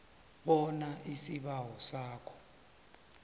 bona isibawo sakho